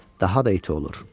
daha da iti olur.